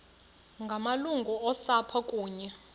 ngamalungu osapho kunye